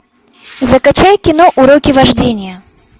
закачай кино уроки вождения